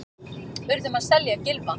Urðum að selja Gylfa